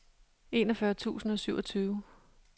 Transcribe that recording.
enogfyrre tusind og syvogtyve